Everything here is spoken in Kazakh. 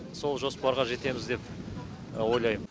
сол жоспарға жетеміз деп ойлаймын